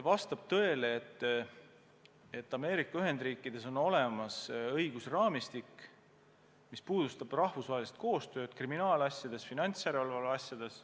Vastab tõele, et Ameerika Ühendriikides on olemas õigusraamistik, mis reguleerib rahvusvahelist koostööd kriminaalasjades, finantsjärelevalve asjades.